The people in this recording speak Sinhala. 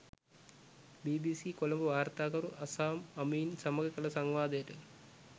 බීබීසී කොළඹ වාර්තාකරු අසාම් අමීන් සමඟ කළ සංවාදයට